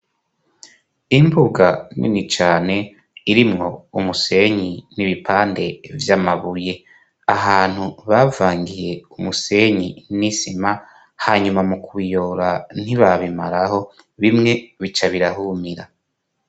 Imbuga nini cane irimwo umusenyi n'ibipande vy'amabuye, ahantu bavangiye umusenyi n'isima hanyuma mu kuyora ntibabimaraho bimwe bica birahumira.